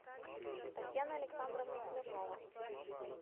татьяна александровна смирнова